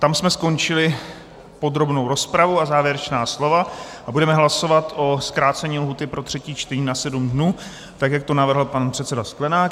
Tam jsme skončili podrobnou rozpravu a závěrečná slova a budeme hlasovat o zkrácení lhůty pro třetí čtení na sedm dnů, tak jak to navrhl pan předseda Sklenák.